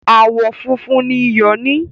Àwọn funfun ni ìyọ ní